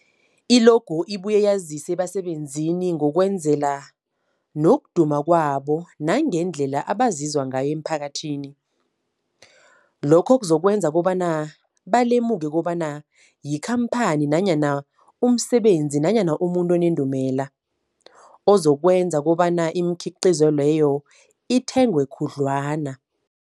I-logo ibuye yazise abasebenzisi ngokwazeka nokuduma kwabo nangendlela abaziwa ngayo emphakathini. Lokho kuzokwenza kobana balemuke kobana yikhamphani nanyana umsebenzi nanyana umuntu onendumela, okuzokwenza kobana imikhiqhizo leyo ithengwe khudlwana.